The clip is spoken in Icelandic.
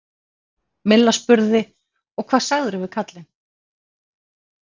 Milla spurði: Og hvað sagðirðu við karlinn?